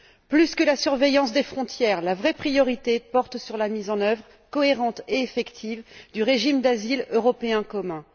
Plus que sur la surveillance des frontières, la vraie priorité porte sur la mise en œuvre cohérente et efficace du régime d'asile européen commun.